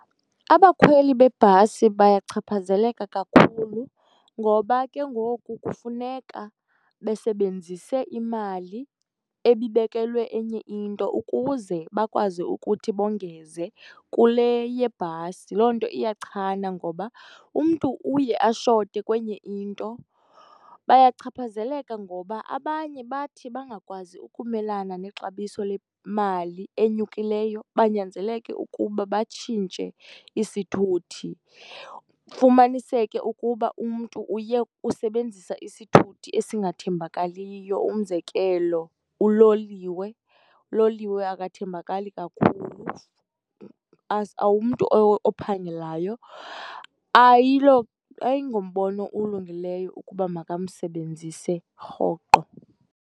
Abakhweli bebhasi bayachaphazeleka kakhulu ngoba ke ngoku kufuneka besebenzise imali ebibekelwe enye into ukuze bakwazi ukuthi bongeze kule yebhasi. Loo nto iyachana ngoba umntu uye ashote kwenye into. Bayachaphazeleka ngoba abanye bathi bangakwazi ukumelana nexabiso lemali enyukileyo, banyanzeleke ukuba batshintshe isithuthi. Kufumaniseke ukuba umntu uye usebenzisa isithuthi esingathembakaliyo, umzekelo, uloliwe. Uloliwe akathembakali kakhulu, umntu ophangelayo ayingombono ulungileyo ukuba makamsebenzise rhoqo.